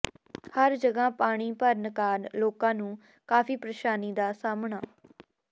ਹਰ ਜਗ੍ਹਾ ਪਾਣੀ ਭਰਨ ਕਾਰਨ ਲੋਕਾਂ ਨੂੰ ਕਾਫ਼ੀ ਪ੍ਰੇਸ਼ਾਨੀ ਦਾ ਸਾਹਮਣਾ